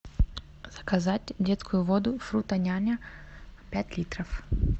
заказать детскую воду фрутоняня пять литров